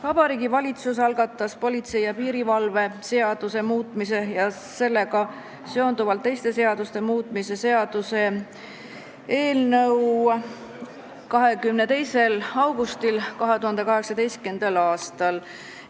Vabariigi Valitsus algatas politsei ja piirivalve seaduse muutmise ja sellega seonduvalt teiste seaduste muutmise seaduse eelnõu 22. augustil 2018. aastal.